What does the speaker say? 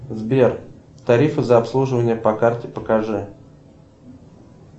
сбер тарифы за обслуживание по карте покажи